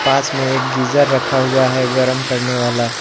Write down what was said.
पास में एक गीजर रखा हुआ है गर्म करने वाला --